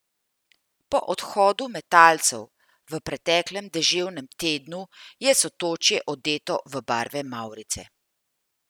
Po odhodu metalcev v preteklem deževnem tednu je Sotočje odeto v barve mavrice.